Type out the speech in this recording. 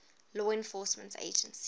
law enforcement agencies